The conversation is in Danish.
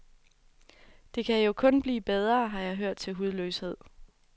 Det kan jo kun blive bedre, har jeg hørt til hudløshed.